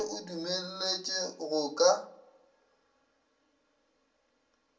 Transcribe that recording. ge o dumelletšwe go ka